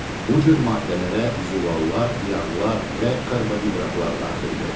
Bu cür maddələrə zülallar, yağlar və karbohidratlar daxildir.